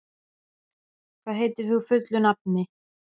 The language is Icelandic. Árgils, hvað heitir þú fullu nafni?